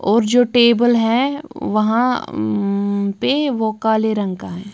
और जो टेबल है वहां म पे वो काले रंग का है।